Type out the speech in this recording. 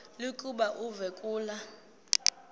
lokuba uve kulaa